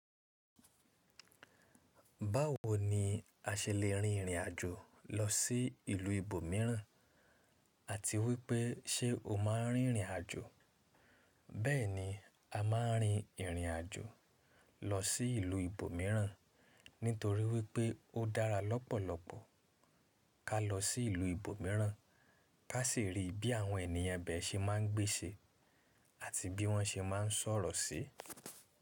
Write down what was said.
Báwo ni a ṣe lè rin ìrìn àjò lọ sí ìlú ibòmíràn àti wípé ṣe o máa ń rin ìrìn àjò? Bẹ́ẹ̀ni, a máa ń rin ìrìn àjò lọ sí ìlú ibòmíràn nítorí wípé ó dára lọ́pọ̀lọpọ̀ ká lọ sí ìlú ibòmíràn, ká sì rí bí àwọn ènìyàn ibẹ̀ se máa ń gbé ṣe àti bí wọ́n ṣe máa ń sọ̀rọ̀ sí.